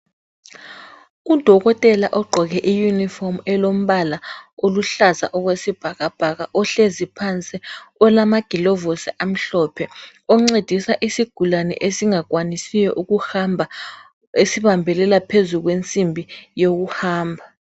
Udokotela ogqoke iyunifomu elombala oluhlaza okwesibhakabhaka ohlezi phansi olamagilovosi amhlophe oncedisa isigulane esingakwanisiyo ukuhamba, esibambelela phezu kwensimbi yokuhamba.